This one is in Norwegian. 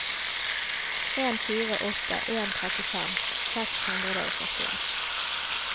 en fire åtte en trettifem seks hundre og førtien